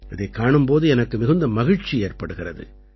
இதைக் காணும் போது எனக்கு மிகுந்த மகிழ்ச்சி ஏற்படுகிறது